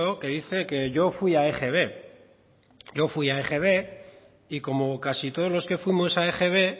que dice que yo fui a egb yo fui a egb y como casi todos los que fuimos a egb